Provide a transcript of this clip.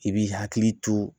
I b'i hakili to